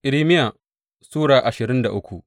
Irmiya Sura ashirin da uku